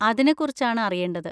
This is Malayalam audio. അതിനെകുറിച്ചാണ് അറിയേണ്ടത്.